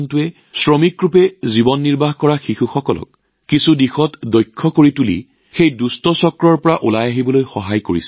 এই সংস্থাটোৱে শিশু শ্ৰমত আবদ্ধ হৈ থকা শিশুসকলকো কিবা নহয় কিবা দক্ষতা শিকাই সেই দুষ্ট চক্ৰৰ পৰা ওলাই আহিবলৈ সহায় কৰিছে